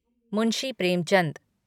Munshi Premchand